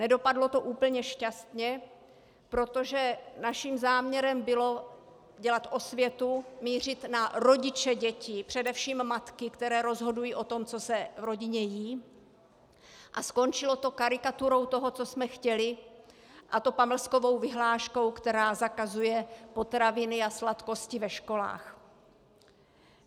Nedopadlo to úplně šťastně, protože naším záměrem bylo dělat osvětu, mířit na rodiče dětí, především matky, které rozhodují o tom, co se v rodině jí, a skončilo to karikaturou toho, co jsme chtěli, a to pamlskovou vyhláškou, která zakazuje potraviny a sladkosti ve školách.